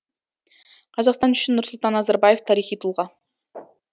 қазақстан үшін нұрсұлтан назарбаев тарихи тұлға